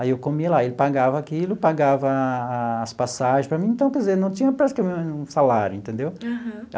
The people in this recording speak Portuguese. Aí eu comia lá, ele pagava aquilo, pagava as passagens para mim, então, quer dizer, não tinha praticamente nenhum salário, entendeu? Aham.